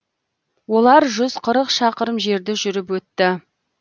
олар жүз қырық шақырым жерді жүріп өтті